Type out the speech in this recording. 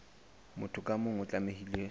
motho ka mong o tlamehile